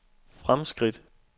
fremskridt